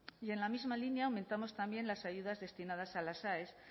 y en la misma línea aumentamos también las ayudas destinadas a las aes